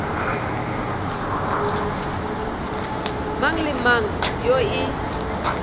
mang le mang yoo e